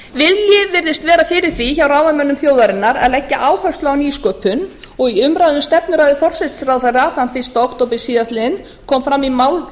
vilji virðist vera fyrir því hjá ráðamönnum þjóðarinnar að leggja áherslu á nýsköpun og í umræðu um stefnuræðu forsætisráðherra þann fyrsta október síðastliðinn kom fram í máli